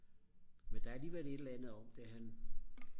men der er alligevel et eller andet om det han